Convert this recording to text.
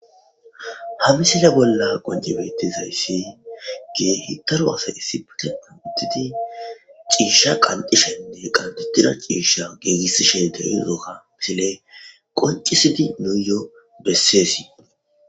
Ha misile bolla qoncibetizayssi ge hitaru asa issipute anutidi ciisha qancishenne qantutida ciisha geegissishe deyuudoka misile qoncisidi nuuyoo besseesii